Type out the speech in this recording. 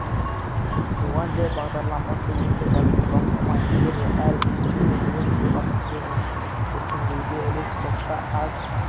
туған жер бағдарламасы өте жақсы бастама егер әр бизнесмен өз туған өлкесін өркендетуге үлес қосса аз